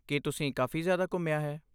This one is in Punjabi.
ਕੀ ਤੁਸੀਂ ਕਾਫ਼ੀ ਜ਼ਿਆਦਾ ਘੁੰਮਿਆ ਹੈ?